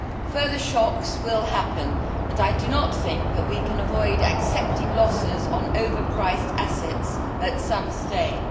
Further shocks will happen and I do not think that we can avoid accepting losses on overpriced assets at some stage.